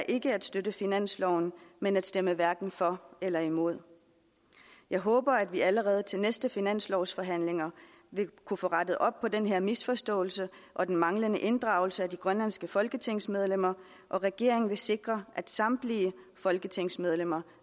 ikke at støtte finansloven men at stemme hverken for eller imod jeg håber at vi allerede til de næste finanslovsforhandlinger vil kunne få rettet op på den her misforståelse og den manglende inddragelse af de grønlandske folketingsmedlemmer og at regeringen vil sikre at samtlige folketingsmedlemmer